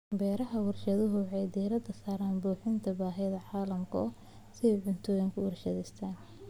Beeraha warshaduhu waxay diiradda saaraan buuxinta baahida caalamiga ah ee cuntooyinka warshadaysan.